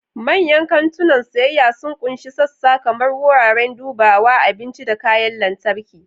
Manyan kantunan siyayya sun ƙunshi sassan kamar wuraren dubawa, abinci, da kayan lantarki.